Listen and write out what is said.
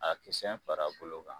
A kisɛn far'a bolo kan